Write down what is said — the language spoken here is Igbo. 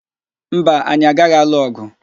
Mba, anyị agaghị alụ ọ̀gụ̀.